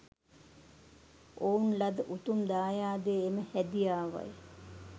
ඔවුන් ලද උතුම් දායාදය එම හැදියාවයි.